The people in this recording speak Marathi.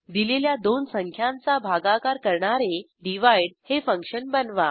दिलेल्या दोन संख्यांचा भागाकार करणारे डिव्हाइड हे फंक्शन बनवा